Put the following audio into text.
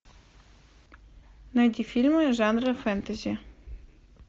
найти фильмы жанра фэнтези